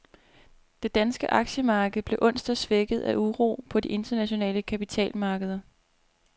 Det danske aktiemarked blev onsdag svækket af uro på de internationale kapitalmarkeder.